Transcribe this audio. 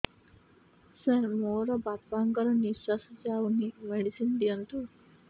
ସାର ମୋର ବାପା ଙ୍କର ନିଃଶ୍ବାସ ଯାଉନି ମେଡିସିନ ଦିଅନ୍ତୁ